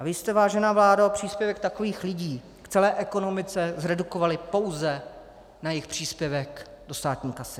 A vy jste, vážená vládo, příspěvek takových lidí v celé ekonomice zredukovali pouze na jejich příspěvek do státní kasy.